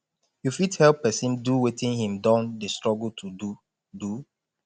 you fit help person do wetin im don dey struggle to do do